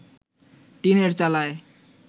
টিনের চালায়